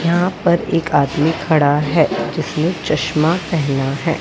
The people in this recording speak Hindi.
यहां पर एक आदमी खड़ा है जिसमें चश्मा पहना है।